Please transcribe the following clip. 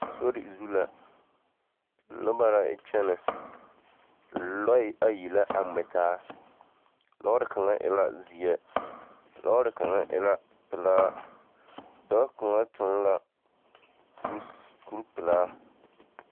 Sori zu la, noba la yɛ kyɛnɛ, noba ayi la a ŋmɛ taa, lɔɔre kaŋa e la zeɛ, lɔɔre kaŋa e la pelaa, dɔɔ kaŋa toŋ la kur-s kur-pelaa.